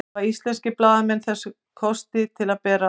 hafa íslenskir blaðamenn þessa kosti til að bera